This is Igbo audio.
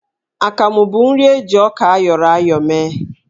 Akamụ bụ nri eji ọka ayọrọ ya ayọ mee.